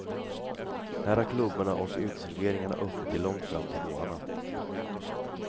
Här har klubbarna och uteserveringarna öppet till långt fram på morgnarna.